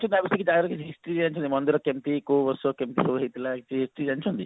history ଜାଣିଥିବ ମନ୍ଦିର କେମତି କୋଉ ବର୍ଷ କେମିତି ସବୁ ହେଇଥିଲା କିଛି ଜାଣିଛନ୍ତି